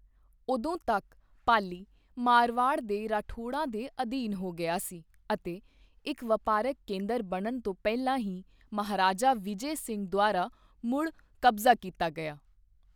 ਉਦੋਂ ਤੱਕ, ਪਾਲੀ ਮਾਰਵਾੜ ਦੇ ਰਾਠੌੜਾਂ ਦੇ ਅਧੀਨ ਹੋ ਗਿਆ ਸੀ, ਅਤੇ ਇੱਕ ਵਪਾਰਕ ਕੇਂਦਰ ਬਣਨ ਤੋਂ ਪਹਿਲਾਂ ਹੀ ਮਹਾਰਾਜਾ ਵਿਜੈ ਸਿੰਘ ਦੁਆਰਾ ਮੁੜ ਕਬਜ਼ਾ ਕੀਤਾ ਗਿਆ।